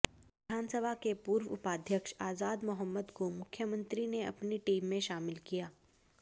विधानसभा के पूर्व उपाध्यक्ष आजाद मौहम्मद को मुख्यमंत्री ने अपनी टीम में शामिल किया